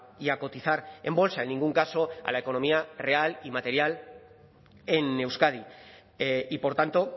y a cotizar en bolsa en ningún caso a la economía real y material en euskadi y por tanto